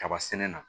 Kaba sɛnɛ na